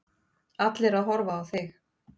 Allir að horfa á þig.